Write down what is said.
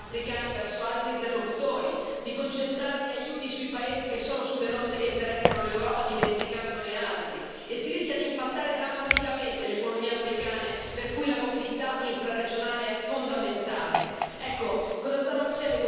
In questo modo rischiamo di spingere i partner africani verso altri interlocutori, di concentrare gli aiuti sui paesi che sono sulle rotte che interessano l'Europa, dimenticandone altri, e rischiamo di impattare drammaticamente le economie africane per le quali la mobilità infraregionale è fondamentale.